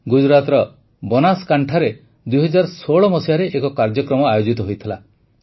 ଗୁଜରାଟର ବନାସକାଣ୍ଠାରେ ୨୦୧୬ରେ ଏକ କାର୍ଯ୍ୟକ୍ରମ ଆୟୋଜିତ ହୋଇଥିଲା